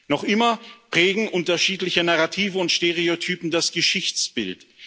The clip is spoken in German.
Noch immer prägen unterschiedliche Narrative und Stereotype das Geschichtsbild.